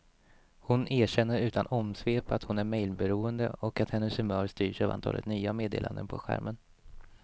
Hon erkänner utan omsvep att hon är mejlberoende och att hennes humör styrs av antalet nya meddelanden på skärmen.